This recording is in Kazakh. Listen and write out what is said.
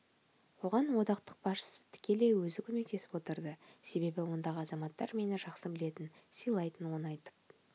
оған одақтық басшысы тікелей өзі көмектесіп отырды себебі ондағы азаматтар мені жақсы білетін сыйлайтын оны айтып